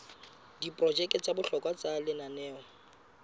diprojeke tsa bohlokwa tsa lenaneo